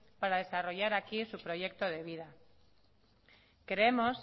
para desarrollar aquí su proyecto de vida creemos